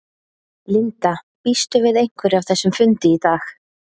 Linda: Býstu við einhverju af þessum fundi í dag?